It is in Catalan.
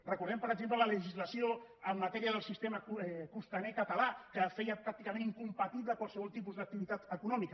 recordem per exemple la legislació en matèria del sistema costaner català que feia pràcticament incompatible qualsevol tipus d’activitat econòmica